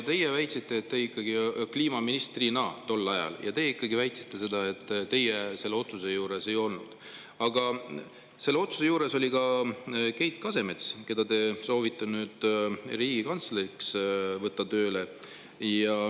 Te väitsite, et teie kliimaministrina tol ajal selle otsuse juures ei olnud, aga selle otsuse juures oli Keit Kasemets, keda te soovite riigikantsleriks tööle võtta.